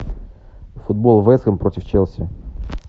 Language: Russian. футбол вест хэм против челси